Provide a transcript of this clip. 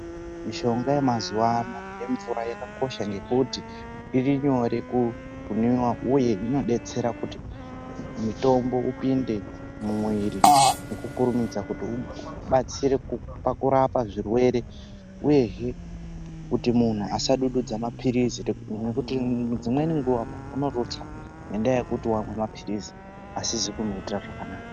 Mishonga yemazuva ano yemvura yakakosha ngekuti irinyore kunwiwa uye inodetsera kuti mutombo upinde mumuviri ngekukurumidza kuti ubatsire pakurapa zvirwere uyezve kuti munhu asadududza mapirizi nekuti dzimweni nguva munhu anorutsa nendaa yekuti amwe mapirizi asina kumuitira zvakanaka.